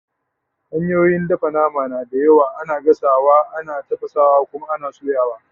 hanyoyin dafa nama na da yawa, ana gasawa, ana tafasawa, ana Kuma soyawa